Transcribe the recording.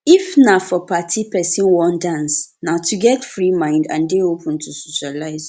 if na for party person wan dance na to get free mind and dey open to socialize